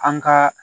An ka